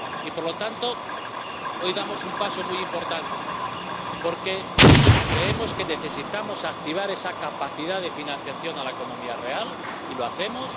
Por lo tanto, hoy damos un paso muy importante, porque creemos que necesitamos activar esa capacidad de financiación a la economía real y lo hacemos.